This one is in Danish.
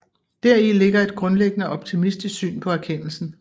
Deri ligger et grundlæggende optimistisk syn på erkendelsen